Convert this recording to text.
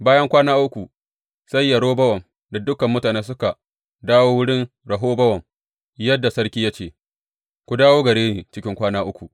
Bayan kwana uku sai Yerobowam da dukan mutane suka dawo wurin Rehobowam, yadda sarki ya ce, Ku dawo gare ni cikin kwana uku.